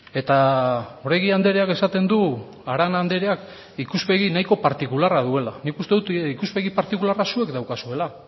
eta oregi andreak esaten du arana andreak ikuspegi nahiko partikularra duela nik uste dut ikuspegi partikularra zuek daukazuela